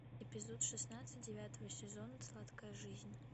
эпизод шестнадцать девятого сезона сладкая жизнь